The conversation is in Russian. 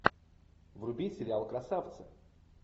вруби сериал красавцы